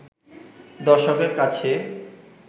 দর্শকের কাছে